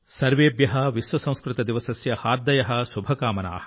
సర్వేభ్య విశ్వ సంస్కృత దివసస్య హార్దయః శుభకామనా